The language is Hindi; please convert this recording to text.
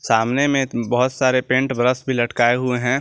सामने में बहुत सारे पेंट ब्रश भी लटकाए हुए हैं।